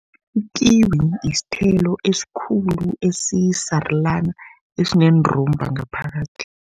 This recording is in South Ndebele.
Ikiwi yisithelo esikhulu esisarulana, esineendumba ngaphakathi.